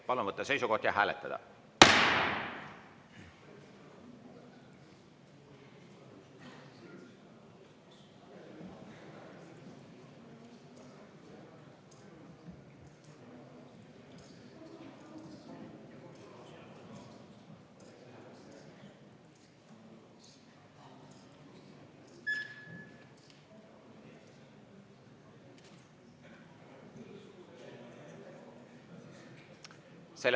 Palun võtta seisukoht ja hääletada!